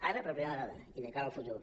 ara per primera vegada i de cara al futur